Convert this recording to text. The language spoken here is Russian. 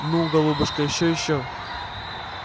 ну голубушка ещё ещё